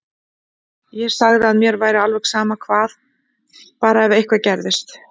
Ég sagði að mér væri sama hvað, bara ef eitthvað gerðist.